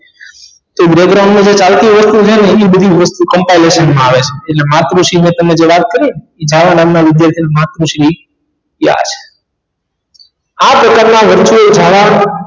તે program ની જે ચાલતી વસ્તુ છે ને એ બધી વસ્તુ compination માં આવે છે જે માતૃશ્રી મૈં જે તમને વાત કરી ને છાયા નામ ના વિધાર્થી ને માતૃશ્રી આ પ્રકાર ના વચે ધારા